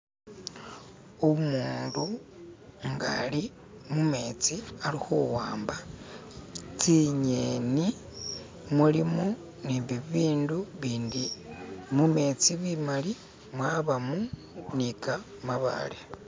Umundu na ali mumetsi alikhuwamba tsingeni mulimu ne bibindu bindi mumetsi bimali mwabamu ni kamabale.